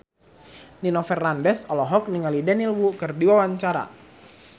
Nino Fernandez olohok ningali Daniel Wu keur diwawancara